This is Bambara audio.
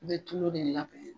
I be tulo de